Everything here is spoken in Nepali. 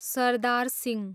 सरदार सिंह